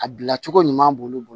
A bila cogo ɲuman b'olu bolo